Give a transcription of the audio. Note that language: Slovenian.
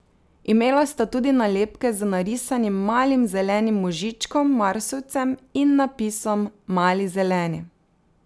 Imela sta tudi nalepke z narisanim malim zelenim možičkom marsovcem in napisom Mali zeleni.